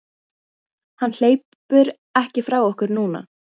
Hann hleypur ekki frá okkur núna.